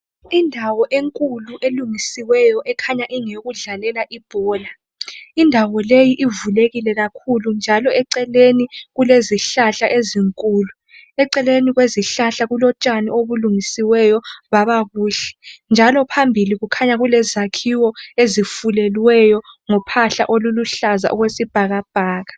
Indawo enkulu elungisiweyo ekhanya engeyokudlalela ibhola. Indawo leyi ivulekile kakhulu njalo eceleni kulezihlahla ezinkulu. Eceleni kwezihlahla kulotshani obulungisiweyo baba buhle njalo phambili kukhanya kelezakhiwo ezifuleliweyo ngophahla oluhlaza okwesibhakabhaka.